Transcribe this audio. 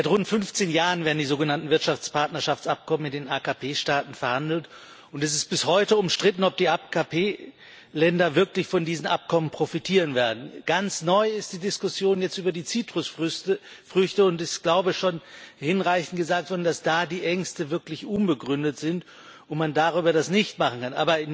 Seit rund 15 Jahren werden die sogenannten Wirtschaftspartnerschaftsabkommen mit den AKP-Staaten verhandelt, und es ist bis heute umstritten, ob die AKP-Länder wirklich von diesen Abkommen profitieren werden. Ganz neu ist die Diskussion jetzt über die Zitrusfrüchte, und es ist, glaube ich, schon hinreichend gesagt worden, dass da die Ängste wirklich unbegründet sind und man das darüber nicht machen kann.